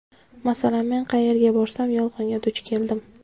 Masalan, men qayerga borsam yolg‘onga duch keldim.